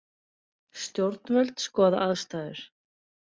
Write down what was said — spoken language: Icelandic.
Stjórnvöld skoða aðstæður